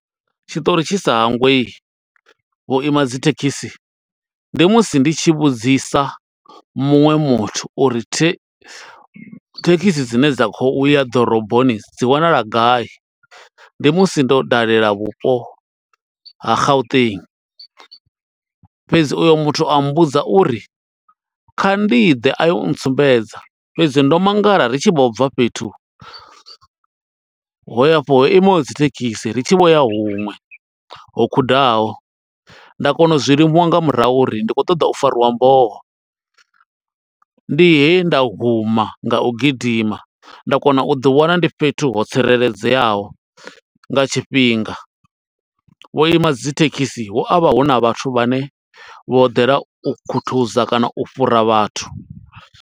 Tshiṱori tshi sa hangwei vhuima dzi thekhisi, ndi musi ndi tshi vhudzisa muṅwe muthu uri thekhisi dzine dza kho uya ḓoroboni dzi wanala gai. Ndi musi ndo dalela vhupo ha Gauteng, fhedzi uyo muthu a mmbudza uri, kha ndi ḓe a yo u ntsumbedza. Fhedzi ndo mangala ri tshi vho bva fhethu ho ya afho ho imaho dzi thekhisi, ri tshi vho ya huṅwe ho khudaho. Nda kona u zwi limuwa nga murahu, uri ndi khou ṱoḓa u fariwa mboho. Ndi he nda huma nga u gidima, nda kona u ḓi wana ndi fhethu ho tsireledzeaho, nga tshifhinga. Vhu ima dzi thekhisi hu avha huna vhathu vhane vho ḓela, u khuthuza kana u fhura vhathu.